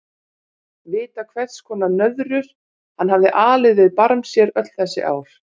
Vita hvers konar nöðrur hann hafði alið við barm sér öll þessi ár.